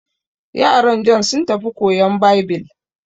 Yaran Jon sun tafi koyan Baibil.